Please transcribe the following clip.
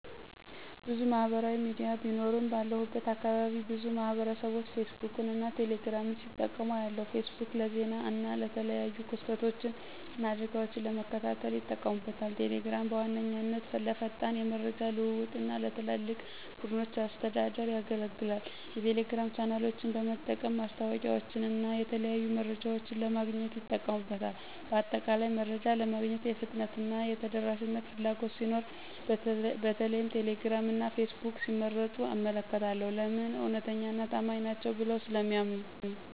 **ብዙ ማህበራዊ ሚዲያ ቢኖሩም፦ ባለሁበት አካባቢ ብዙ ማህበረሰብቦች ፌስቡክን እና ቴሌ ግራምን ሲጠቀሙ አያለሁ፤ * ፌስቡክ: ለዜና እና የተለያዩ ክስተቶችን እና አደጋወችን ለመከታተል ይጠቀሙበታል። * ቴሌግራም: በዋነኛነት ለፈጣን የመረጃ ልውውጥ እና ለትላልቅ ቡድኖች አስተዳደር ያገለግላል። የቴሌግራም ቻናሎችን በመጠቀም ማስታወቂያወችንና የተለያዩ መረጃዎችን ለማግኘት ይጠቀሙበታል። በአጠቃላይ፣ መረጃ ለማግኘት የፍጥነትና የተደራሽነት ፍላጎት ሲኖር በተለይም ቴሌግራም እና ፌስቡክን ሲመርጡ እመለከታለሁ። *ለምን? እውነተኛና ታማኝ ናቸው ብለው ስለሚያምኑ።